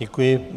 Děkuji.